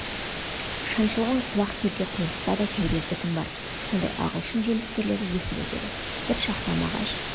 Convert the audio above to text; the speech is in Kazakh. шаншылған құлақ келте құйрықта да кербез бітім бар сондай ағылшын желіскерлері есіп өтеді бір шақта мағаш